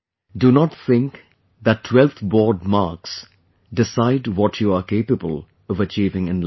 Do not think that 12th board marks decide what you are capable of achieving in life